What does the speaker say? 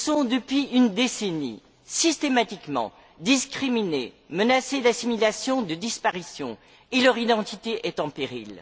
Depuis une décennie, ils sont systématiquement discriminés, menacés d'assimilation et de disparition et leur identité est en péril.